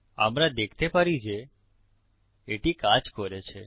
আমরা দেখতে পারি যে এটি কাজ করেছে